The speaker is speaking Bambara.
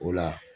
O la